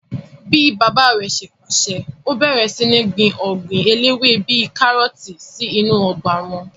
Bíi bàbá rẹ̀ ṣe pàṣẹ, ó bẹ̀rẹ̀ sí ní gbin ọgbìn eléwé bíi kárọ̀tì sí inú ọgbà wọn